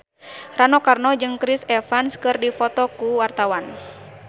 Rano Karno jeung Chris Evans keur dipoto ku wartawan